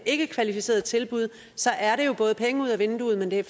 ikkekvalificeret tilbud er det jo både penge ud af vinduet men det er